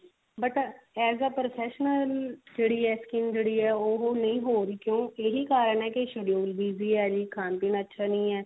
but as a professional ਜਿਹੜੀ ਹੈ skill ਜਿਹੜੀ ਹੈ ਉਹ ਨਹੀ ਹੋ ਰਹੀ ਕਿਉਂਕਿ ਇਹੀ ਕਾਰਣ ਹੈ schedule BZY ਹੈ ਜੀ ਖਾਣ ਪੀਣ ਅੱਛਾ ਨਹੀ ਹੈ